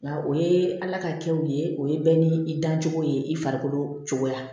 Nka o ye ala ka kɛ u ye o ye bɛɛ ni i dancogo ye i farikolo cogoya